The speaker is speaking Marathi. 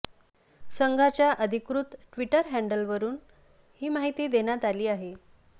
संघाच्या अधिकृत ट्विटर हँडवलरुन ही माहिती देण्यात आली आहे